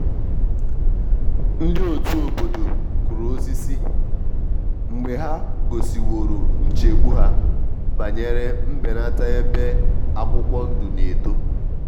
ndị otu obodo kụrụ osisi mgbe ha gosiworo nchegbu ha banyere mbenata ebe akwụkwọ ndụ na eto.